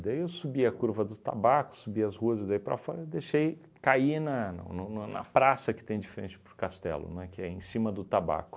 Daí eu subi a curva do tabaco, subi as ruas e daí para fora, deixei cair na no no no na praça que tem de frente para o castelo, não é, que é em cima do tabaco.